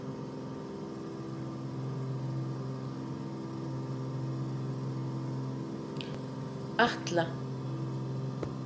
Atla